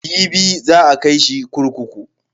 Jibi za a kai shi kurkuku.